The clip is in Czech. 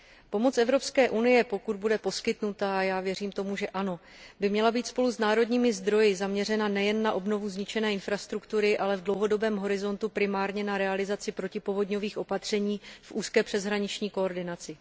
Pomoc Evropské unie, pokud bude poskytnuta, a já věřím tomu, že ano, by měla být spolu s národními zdroji zaměřena nejen na obnovu zničené infrastruktury, ale v dlouhodobém horizontu primárně na realizaci protipovodňových opatření v úzké přeshraniční koordinaci.